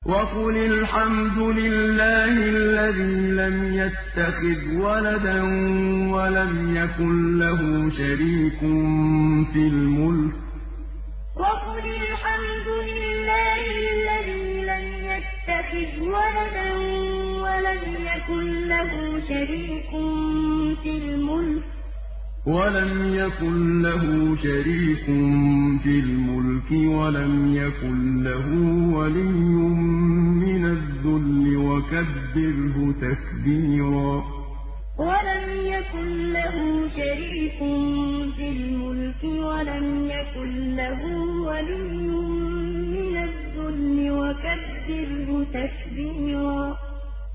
وَقُلِ الْحَمْدُ لِلَّهِ الَّذِي لَمْ يَتَّخِذْ وَلَدًا وَلَمْ يَكُن لَّهُ شَرِيكٌ فِي الْمُلْكِ وَلَمْ يَكُن لَّهُ وَلِيٌّ مِّنَ الذُّلِّ ۖ وَكَبِّرْهُ تَكْبِيرًا وَقُلِ الْحَمْدُ لِلَّهِ الَّذِي لَمْ يَتَّخِذْ وَلَدًا وَلَمْ يَكُن لَّهُ شَرِيكٌ فِي الْمُلْكِ وَلَمْ يَكُن لَّهُ وَلِيٌّ مِّنَ الذُّلِّ ۖ وَكَبِّرْهُ تَكْبِيرًا